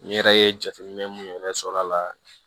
N yɛrɛ ye jateminɛ mun yɛrɛ sɔrɔ a la